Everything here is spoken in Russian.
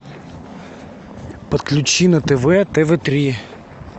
подключи на тв тв три